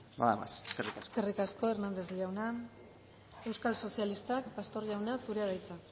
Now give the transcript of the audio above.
nada más eskerrik asko eskerrik asko hernández jauna euskal sozialistak pastor jauna zurea da hitza